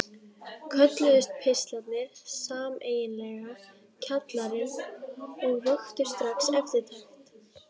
Kölluðust pistlarnir sameiginlega Kjallarinn og vöktu strax eftirtekt.